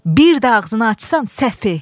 Bir də ağzını açsan, səfi!